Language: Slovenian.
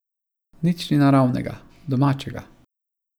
Nič ni naravnega, domačega.